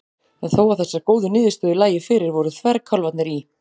En þó að þessar góðu niðurstöður lægju fyrir voru þverkálfarnir í